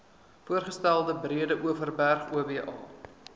voorgestelde breedeoverberg oba